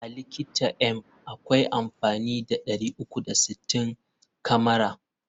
A likita m akwai amfani da 360 kamara.